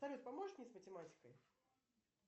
салют поможешь мне с математикой